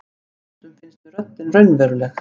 Stundum finnst mér röddin raunveruleg.